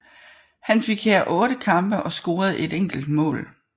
Han fik her otte kampe og scorede et enkelt mål